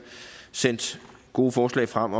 sendt gode forslag frem